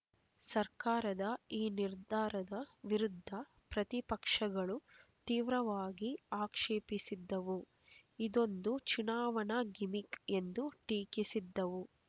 ಸರ್ಕಾರದ ಈ ನಿರ್ಧಾರದ ವಿರುದ್ಧ ಪ್ರತಿಪಕ್ಷಗಳು ತೀವ್ರವಾಗಿ ಆಕ್ಷೇಪಿಸಿದ್ದವು ಇದೊಂದು ಚುನಾವಣಾ ಗಿಮಿಕ್ ಎಂದು ಟೀಕಿಸಿದ್ದವು